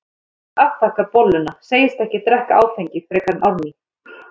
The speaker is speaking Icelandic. Sædís afþakkar bolluna, segist ekki drekka áfengi frekar en Árný.